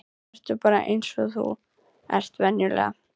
Vertu bara eins og þú ert venjulega.